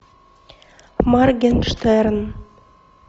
моргенштерн